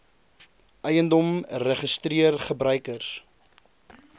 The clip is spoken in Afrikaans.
eiendom registreer gebruikers